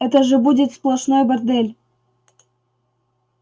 это же будет сплошной бордель